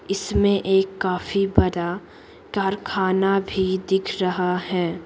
इसमें एक काफी बड़ा कारखाना भी दिख रहा है।